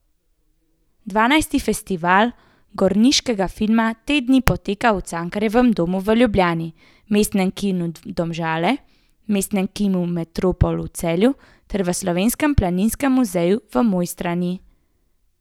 Dvanajsti Festival gorniškega filma te dni poteka v Cankarjevem domu v Ljubljani, Mestnem kinu Domžale, Mestnem kinu Metropol v Celju ter v Slovenskem planinskem muzeju v Mojstrani.